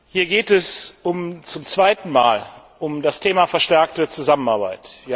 Hier geht es zum zweiten Mal um das Thema verstärkte Zusammenarbeit.